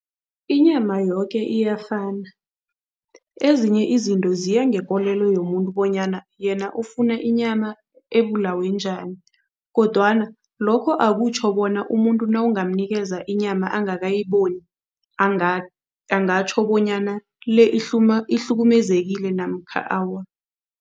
Inyama yoke iyafana. Ezinye izinto ziya ngekolelo yomuntu bonyana yena ufuna inyama ebulawe njani kodwana lokho akutjho bona umuntu nawungamnikeza inyama angakayiboni, angatjho bonyana le ihlukumezekile namkha awa.